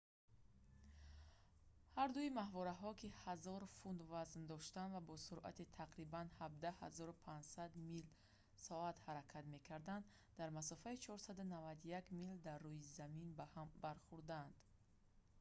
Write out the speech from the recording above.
ҳардуи моҳвораҳо ки 1000 фунт вазн доштанд ва бо суръати тақрибан 17 500 мил/соат ҳаракат мекарданд дар масофаи 491 мил дар рӯи замин ба ҳам бархӯрданд